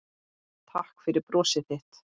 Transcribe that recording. Takk fyrir brosið þitt.